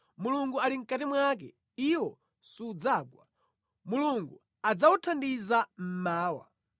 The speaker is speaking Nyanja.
Mulungu ali mʼkati mwake, iwo sudzagwa; Mulungu adzawuthandiza mmawa.